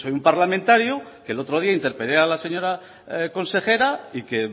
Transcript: un parlamentario que el otro día interpelé a la señora consejera y que